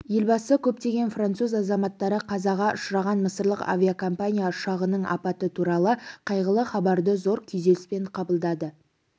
елбасы көптеген француз азаматтары қазаға ұшыраған мысырлық авиакомпания ұшағының апаты туралы қайғылы хабарды зор күйзеліспен қабылдады